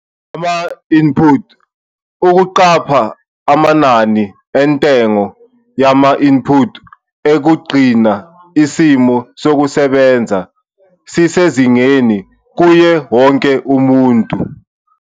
Ama-input- Ukuqapha amanani entengo yama-input ukugcina isimo sokusebenza sisezingeni kuye wonke umuntu.